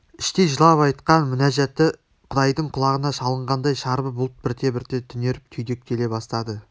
іштей жылап айтқан мінәжаты құдайдың құлағына шалынғандай шарбы бұлт бірте-бірте түнеріп түйдектеле бастады